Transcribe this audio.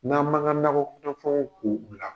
N'an m'an ka nakɔ kɔnɔfɛnw ko bila